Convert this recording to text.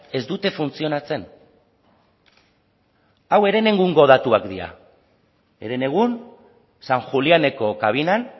ez dute funtzionatzen hau herenegungo datuak dira herenegun san juliáneko kabinan